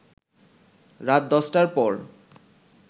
রাত ১০টার পর